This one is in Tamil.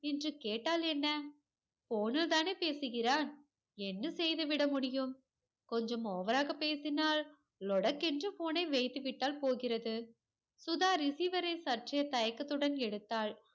என்று கேட்டால் என்ன phone லதான பேசுகிறான் என்ன செய்துவிட முடியும் கொஞ்சம் over ராக பேசினால் லொடக்கென்று phone ஐ வைத்து விட்டால் போகிறது சுதா receiver சற்று தயக்கத்துடன் எடுத்தால்